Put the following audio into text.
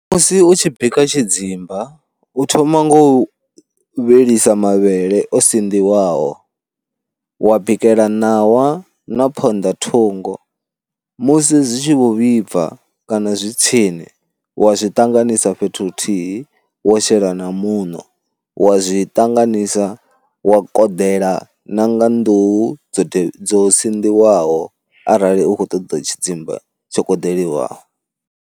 Musi u tshi bika tshidzimba u thoma nga u vhilisa mavhele o sinḓiwaho, wa bikela ṋawa na phonḓa thungo musi zwi tshi vho vhibva kana zwi tsini wa zwi ṱanganisa fhethu huthihi wo shela na muṋo, wa zwi ṱanganisa wa koḓela na nga nḓuhu dzo dzo sinḓiwaho arali u khou ṱoḓa tshidzimba tsho koḓeliwaho.